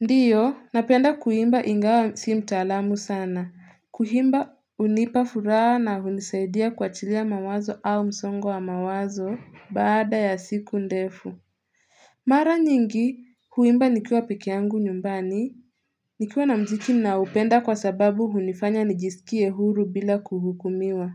Ndio, napenda kuimba ingawa si mtaalamu sana. Kuhimba hunipa furaha na hunisaidia kuachilia mawazo au msongo wa mawazo baada ya siku ndefu. Mara nyingi, huimba nikiwa pekee yangu nyumbani. Nikiwa na mziki ninaopenda kwa sababu hunifanya nijisikie huru bila kuhukumiwa.